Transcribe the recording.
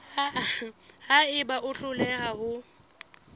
ha eba o hloleha ho